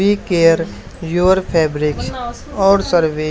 B care your Febreze और survey --